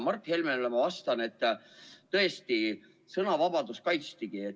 Mart Helmele ma aga ütlen, et tõesti, sõnavabadust kaitstigi.